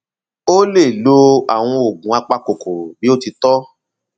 ó lè lo àwọn oògùn apakòkòrò bí ó ti tọ